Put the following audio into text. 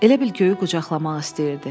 Elə bil göyü qucaqlamaq istəyirdi.